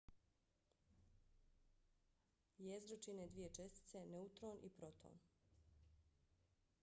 jezgro čine dvije čestice - neutron i proton